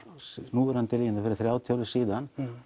núverandi línur fyrir þrjátíu árum síðan